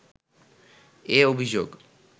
এ অভিযোগ